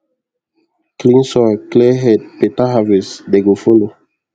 clean soil clear head better harvest dey go follow